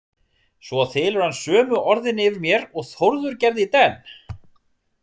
Svo þylur hann sömu orðin yfir mér og Þórður gerði í denn.